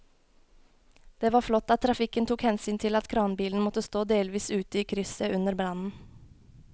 Det var flott at trafikken tok hensyn til at kranbilen måtte stå delvis ute i krysset under brannen.